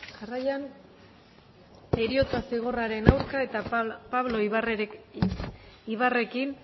jarraian heriotza zigorraren aurka eta pablo ibarrekin